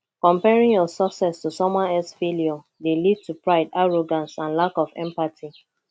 comparing your success to someone else failure dey lead to pride arrogance and lack of empathy